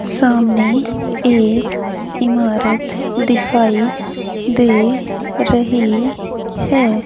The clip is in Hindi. सामने एक इमारत दिखाई दे रही है।